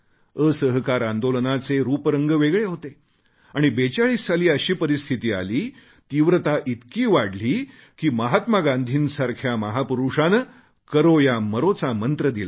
असहकार आंदोलन चे रूपरंग वेगळे होते आणि 42 साली अशी परिस्थिती आली तीव्रता इतकी वाढली की महात्मा गांधींसारख्या महापुरुषाने करो या मरो चा मंत्र दिला